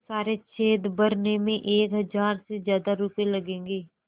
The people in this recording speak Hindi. तो सारे छेद भरने में एक हज़ार से ज़्यादा रुपये लगेंगे